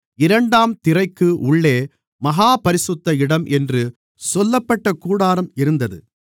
இரண்டாம் திரைக்கு உள்ளே மகா பரிசுத்த இடம் என்று சொல்லப்பட்ட கூடாரம் இருந்தது